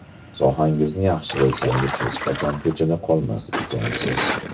Sohangizni yaxshi bilsangiz hech qachon ko‘chada qolmas ekansiz.